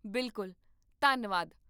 ਬਿਲਕੁਲ, ਧੰਨਵਾਦ